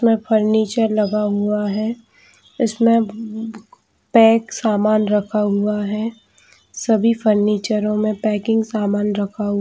में फर्नीचर लगा हुआ है जिसमें पैक सामान रखा हुआ है सभी फर्नीचर में पैकिंग सामान रखा --